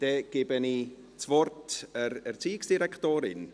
Dann gebe ich das Wort der Erziehungsdirektorin.